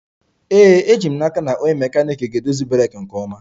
Ee, eji m n'aka na onye mekaniiki ga-edozi breeki nke ọma